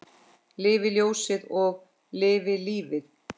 Lifi ljósið og lifi lífið!